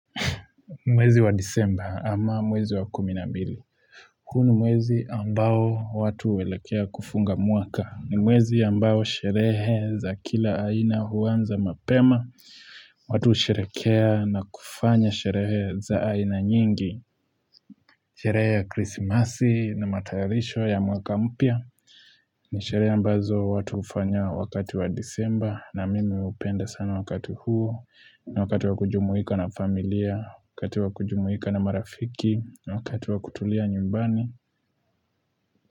Mwezi wa disemba ama mwezi wa kuminambili huu ni mwezi ambao watu waelekea kufunga mwaka ni mwezi ambao sherehe za kila aina huanza mapema watu husherehekea na kufanya sherehe za aina nyingi Sherehe ya krisimasi na matayarisho ya mwaka mpya ni shereha ambazo watu hufanya wakati wa disemba na mimi hupenda sana wakati huo na wakati wa kujumuika na familia wakati wa kujumuika na marafiki wakati wa kutulia nyumbani.